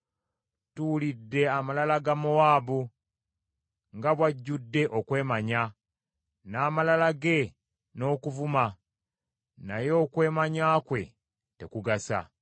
Tuwulidde amalala ga Mowaabu, nga bw’ajjudde okwemanya, n’amalala ge n’okuvuma; naye okwemanya kwe tekugasa.